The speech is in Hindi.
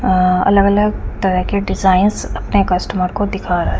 अ अलग अलग तरह के डिजाईन अपने कस्टूमर को दिखा रहा है।